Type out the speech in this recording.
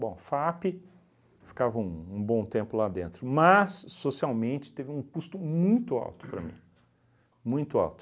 Bom, FAAP ficava um um bom tempo lá dentro, mas socialmente teve um custo muito alto para mim, muito alto.